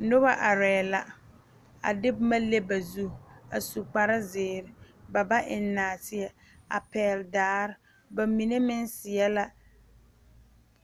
Noba aree la, a de boma leŋ ba zu a su kpare zeɛre ba ba eŋe naateɛ a pɛgele daare, ba mine meŋ seɛ la